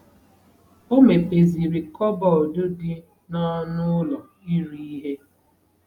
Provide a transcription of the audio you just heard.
O mepeziri kọbọd dị n'ọnụ ụlọ iri ihe.